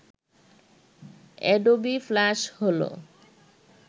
Adobe Flash হল